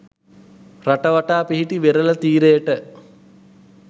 රට වටා පිහිටි වෙරළ තීරයට